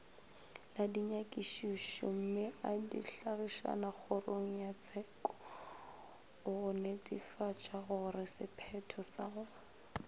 la dinyakišišommeadihlagišakgorongyatsheko gonetefatšagoresephetho sa go